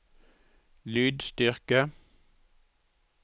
lydstyrke